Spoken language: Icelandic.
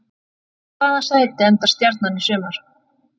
Í hvaða sæti endar Stjarnan í sumar?